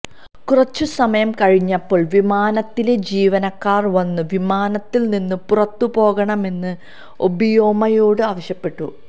കുറച്ച് സമയം കഴിഞ്ഞപ്പോള് വിമാനത്തിലെ ജീവനക്കാര് വന്ന് വിമാനത്തില് നിന്ന് പുറത്തുപോകണമെന്ന് ഒബിയോമയോട് ആവശ്യപ്പെട്ടു